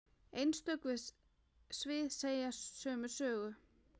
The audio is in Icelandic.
Einstök svið segja sömu sögu.